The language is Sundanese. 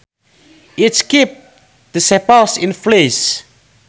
It keeps the sepals in place